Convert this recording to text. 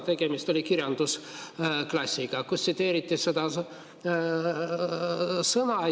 Tegemist oli kirjandusklassiga, kus tsiteeriti seda sõna.